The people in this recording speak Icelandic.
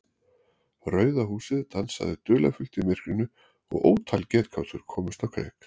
Rauða húsið dansaði dularfullt í myrkrinu og ótal getgátur komust á kreik.